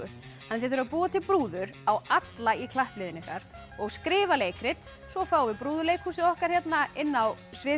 að þið þurfið að búa til brúður á alla í klappliðinu ykkar og skrifa leikrit svo fáum við brúðuleikhúsið okkar hérna inn á svið